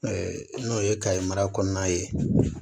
n'o ye ka mara kɔnɔna ye